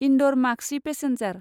Indore Maksi passenger